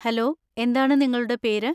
Hello എന്താണ് നിങ്ങളുടെ പേര്?